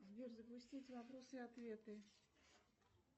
сбер запустить вопросы и ответы